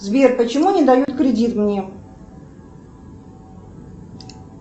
сбер почему не дают кредит мне